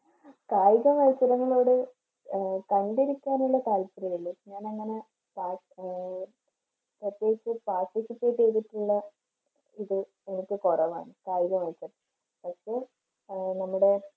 കായിക മത്സരങ്ങളോട് അഹ് കണ്ടുനിൽക്കാനുള്ള താല്പര്യമില്ല ഞാനങ്ങനെ താ ആഹ് പ്രത്യേകിച്ച് participiate ചെയ്തിട്ടുള്ള ഇത് ഒക്കെ കുറവാണ് കായിക മത്സരം അപ്പോൾ നമ്മുടെ